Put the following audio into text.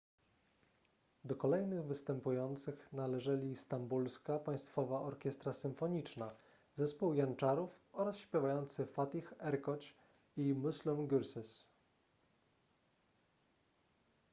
do kolejnych występujących należeli stambulska państwowa orkiestra symfoniczna zespół janczarów oraz śpiewacy fatih erkoç i müslüm gürses